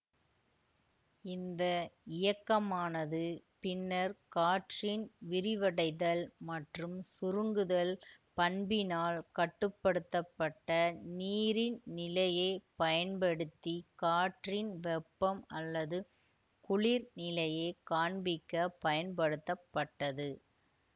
இந்த இயக்கமானது பின்னர் காற்றின் விரிவடைதல் மற்றும் சுருங்குதல் பண்பினால் கட்டு படுத்த பட்ட நீரின் நிலையை பயன்படுத்தி காற்றின் வெப்பம் அல்லது குளிர்நிலையைக் காண்பிக்க பயன்படுத்தப்பட்டது